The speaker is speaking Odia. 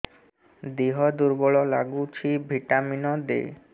ଦିହ ଦୁର୍ବଳ ଲାଗୁଛି ଭିଟାମିନ ଦେ